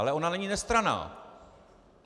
Ale ona není nestranná.